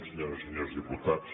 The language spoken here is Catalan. senyores i senyors diputats